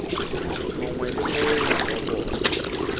mongwe le mongwe wa bona